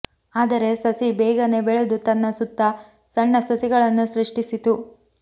ಆದರೆ ಸಸಿ ಬೇಗನೇ ಬೆಳೆದು ತನ್ನ ಸುತ್ತ ಸಣ್ಣ ಸಸಿಗಳನ್ನು ಸೃಷ್ಟಿಸಿತು